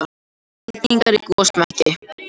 Eldingar í gosmekki